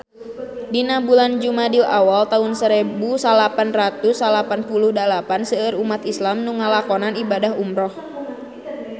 Dina bulan Jumadil awal taun sarebu salapan ratus salapan puluh dalapan seueur umat islam nu ngalakonan ibadah umrah